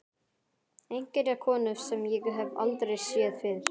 Einhverja konu sem ég hef aldrei séð fyrr.